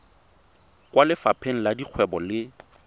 kwa lefapheng la dikgwebo le